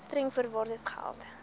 streng voorwaardes geld